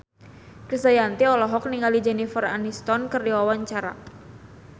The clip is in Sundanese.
Krisdayanti olohok ningali Jennifer Aniston keur diwawancara